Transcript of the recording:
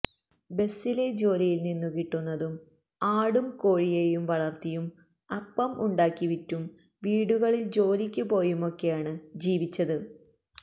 ബസിലെ ജോലിയില് നിന്നു കിട്ടുന്നതും ആടും കോഴിയെയും വളര്ത്തിയും അപ്പം ഉണ്ടാക്കി വിറ്റും വീടുകളില് ജോലിക്ക് പോയുമൊക്കെയാണ് ജീവിച്ചത്